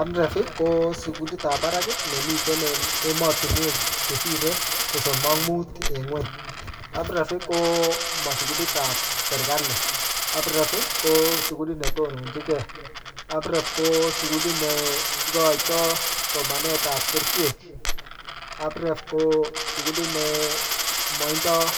AMREF, ko sukulit ap barak ne miten emotunwek chesire sosom ak mut en nguny. AMREF ko ma sukulit ap serikali. AMREF ko sukulit ne tononchinkey. AMREF ko sukulit ne ikoitoi somanet ap kerichek. AMREF ko sukulit ne matindoi